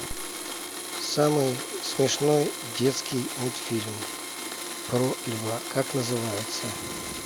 самый смешной детский мультфильм про льва как называется